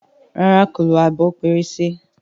ràrá kò ló Abọ́ pẹrẹsẹ.